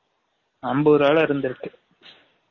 அம்பது ரூவா ல இருந்து இருக்கு